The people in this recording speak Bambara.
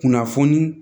Kunnafoni